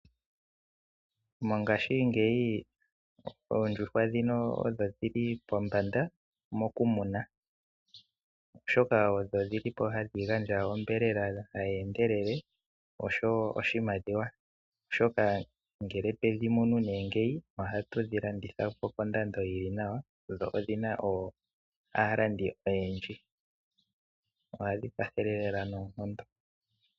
Mongashingeyi oondjuhwa odho dhili pombanda mokumuna molwaashoka odho dhili po hadhi gandja onyama hayi endelele osho wo oshimaliwa molwaashoka ngele twedhi munu ohatu dhi landitha po kondando yili nawa dho odhi na aalandi oyendji. Ohadhi kwathele lela noonkondo.